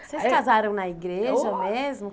Vocês casaram na igreja Ô Mesmo?